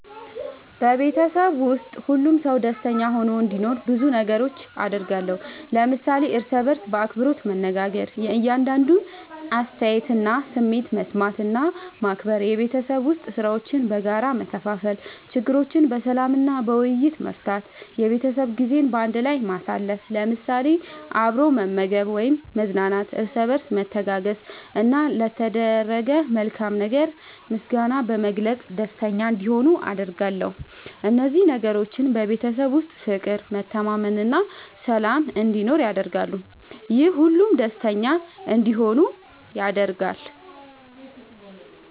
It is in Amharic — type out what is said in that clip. በቤተሰቤ ውስጥ ሁሉም ሰው ደስተኛ ሆኖ እንዲኖር ብዙ ነገሮችን አደርጋለሁ።። ለምሳሌ፦ እርስ በርስ በአክብሮት መነጋገር። የእያንዳንዱን አስተያየትና ስሜት መስማት እና ማክበር፣ የቤት ዉስጥ ሥራዎችን በጋራ መከፋፈል፣ ችግሮችን በሰላም እና በውይይት መፍታት፣ የቤተሰብ ጊዜ በአንድ ላይ ማሳለፍ ለምሳሌ፦ አብሮ መመገብ ወይም መዝናናት፣ እርስ በርስ መተጋገዝ፣ እና ለተደረገ መልካም ነገር ምስጋና በመግለጽ ደስተኛ እንዲሆኑ አደርጋለሁ። እነዚህ ነገሮች በቤተሰብ ውስጥ ፍቅር፣ መተማመን እና ሰላም እንዲኖር ያደርጋሉ፤ ይህም ሁሉም ደስተኛ እንዲሆኑ ያደርጋል።